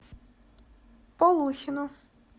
полухину